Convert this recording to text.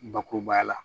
Bakurubaya la